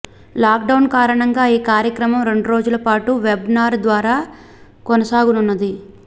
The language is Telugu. లాక్ డౌన్ కారణంగా ఈ కార్యక్రమం రెండురోజులపాటు వెబ్ నార్ ద్వారా కొనసాగనున్నది